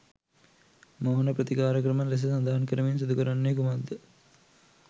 මෝහන ප්‍රතිකාර ක්‍රම ලෙස සඳහන් කරමින් සිදු කරන්නේ කුමක්ද?